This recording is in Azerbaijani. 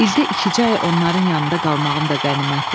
İldə ikicə ay onların yanında qalmağım da qənimətdir.